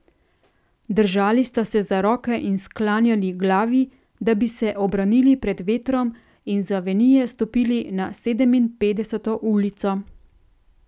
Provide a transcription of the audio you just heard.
Držali sta se za roke in sklanjali glavi, da bi se obranili pred vetrom in z avenije stopili na Sedeminpetdeseto ulico.